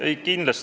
Aitäh!